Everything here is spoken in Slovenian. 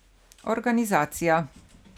Organizacija.